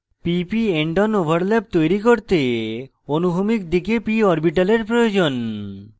pp endon overlap তৈরী করতে অনুভূমিক দিকে p orbitals প্রয়োজন